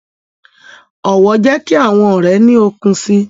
Ọwọ jẹ ki awọn ọrẹ ni òkun síi